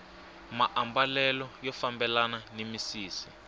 maambalelo ya fambelana ni misisi